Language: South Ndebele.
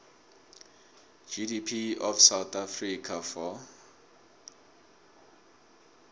gdp of south africa for